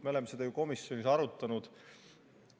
Me oleme seda ju komisjonis arutanud.